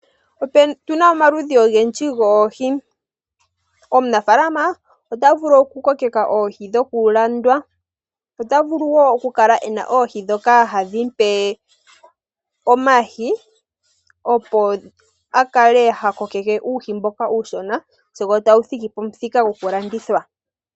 Otuna omaludhi ogendji goohi. Omunafaalama ota vulu oku kokeka oohi dhoku landitha. Ota vulu wo okukala ena oohi dhoka hadhi mupe omayi, opo akale ha kokeke uuhi mboka uushona, sigo tagu thiki pamuthika gwoku landithwa.